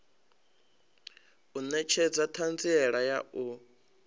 u netshedza thanziela ya u